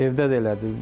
Evdə də elədir.